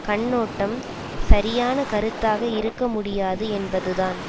கண்ணோட்டம் சரியான கருத்தாக இருக்க முடியாது என்பதுதான்